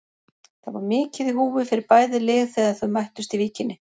Það var mikið í húfi fyrir bæði lið þegar þau mættust í Víkinni.